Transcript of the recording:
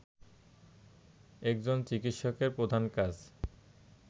একজন চিকিৎসকের প্রধান কাজ